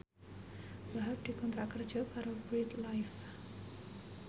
Wahhab dikontrak kerja karo Bread Life